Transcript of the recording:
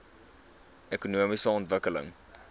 ekonomiese ontwikkeling